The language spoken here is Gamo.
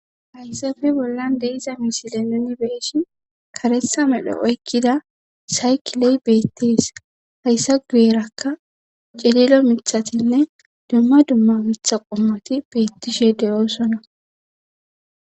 hayssafe bollan de'iza misile nuni be'ishin karetha medho oykkida saykiley beettees hayssa guyerakka cililo mithatatinne dumma dumma mitha qommoti beettishe de'osona